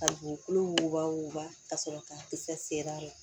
Ka dugukolo wuguba wuguba ka sɔrɔ ka kisɛ ser'a ma